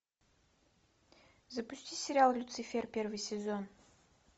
запусти сериал люцифер первый сезон